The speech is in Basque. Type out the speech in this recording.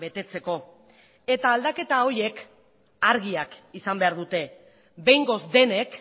betetzeko eta aldaketa horiek argiak izan behar dute behingoz denek